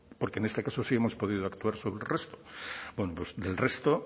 porque en este caso sí hemos podido actuar sobre el resto bueno pues del resto